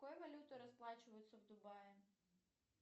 какой валютой расплачиваются в дубае